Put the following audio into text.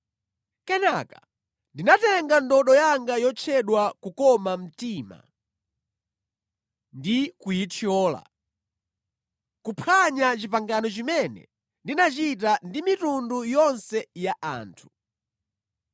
Kenaka ndinatenga ndodo yanga yotchedwa Kukoma mtima ndi kuyithyola, kuphwanya pangano limene ndinachita ndi mitundu yonse ya anthu.